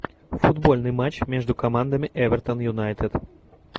футбольный матч между командами эвертон юнайтед